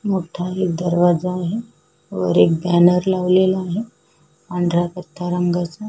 मोठा एक दरवाजा आहे वर एक बॅनर लावलेला आहे पांढऱ्या कथ्था रंगाचा --